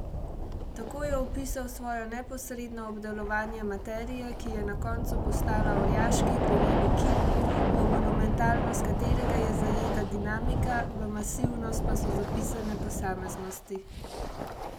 Tako je opisal svojo neposredno obdelovanje materije, ki je na koncu postala orjaški glineni kip, v monumentalnost katerega je zajeta dinamika, v masivnost pa so zapisane posameznosti.